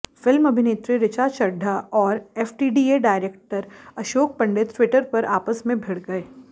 film अभिनेत्री रिचा चड्ढा और FTDA director Ashok Pandit Twitter पर आपस में भिड़ गए